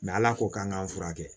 ala ko k'an k'an furakɛ